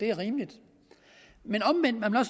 er rimeligt men omvendt er man